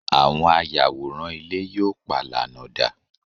àwọn ayàwòrán ilé yíò palana da